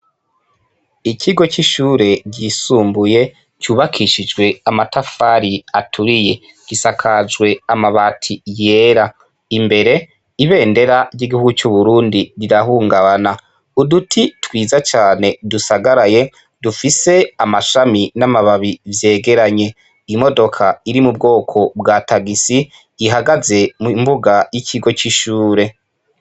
Ikigo c'ishure ryisumbuye cyubakishijwe amatafari aturiye gisakajwe amabati yera imbere ibendera ry'igihuu c'uburundi rirahungabana uduti twiza cane dusagaraye dufise amashami n'amababi vyegeranye imodoka iri mu bwoko bwa tagisi ihagaze mbuga y'ikigo c'ishure.